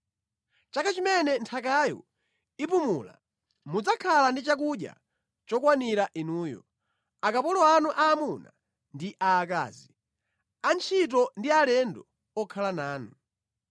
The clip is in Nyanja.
Chaka chimene nthakayo ipumula mudzakhala ndi chakudya chokwanira inuyo, akapolo anu aamuna ndi aakazi, antchito ndi alendo okhala nanu.